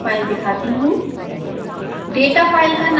मैं आपको यह फाइल दिखाती हूँ